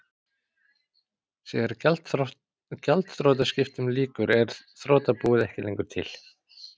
Þegar gjaldþrotaskiptum lýkur er þrotabúið ekki lengur til.